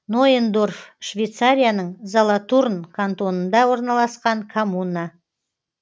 нойендорф швейцарияның золотурн кантонында орналасқан коммуна